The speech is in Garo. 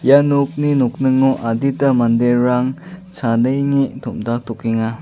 ia nokni nokningo adita manderang chadenge tom·daktokenga.